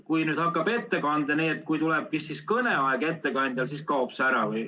Kui nüüd hakkab ettekanne, kui tuleb kõne aeg, siis kaob ühendus ettekandjal nagu ära.